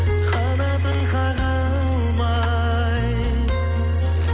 қанатын қаға алмай